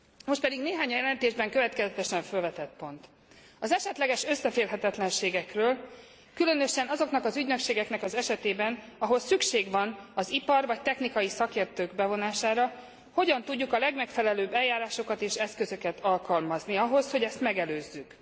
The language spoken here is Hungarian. Most pedig néhány, a jelentésben következetesen fölvetett pont az esetleges összeférhetetlenségekről, különösen azoknak az ügynökségeknek az esetében, ahol szükség van az ipar vagy technikai szakértők bevonására, hogyan tudjuk a legmegfelelőbb eljárásokat és eszközöket alkalmazni ahhoz, hogy ezt megelőzzük.